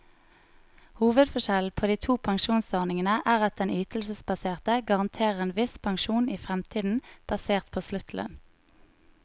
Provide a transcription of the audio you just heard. Hovedforskjellen på de to pensjonsordningene er at den ytelsesbaserte garanterer en viss pensjon i fremtiden, basert på sluttlønn.